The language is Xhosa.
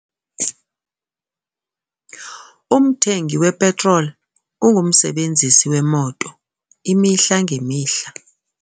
Umthengi wepetroli ungumsebenzisi wemoto imihla ngemihla.